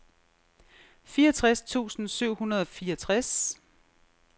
fireogtres tusind syv hundrede og fireogtres